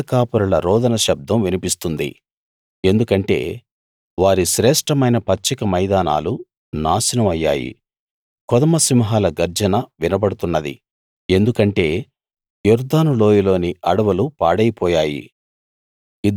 గొర్రెల కాపరుల రోదన శబ్దం వినిపిస్తుంది ఎందుకంటే వారి శ్రేష్ఠమైన పచ్చిక మైదానాలు నాశనం అయ్యాయి కొదమ సింహాల గర్జన వినబడుతున్నది ఎందుకంటే యొర్దాను లోయలోని అడవులు పాడైపోయాయి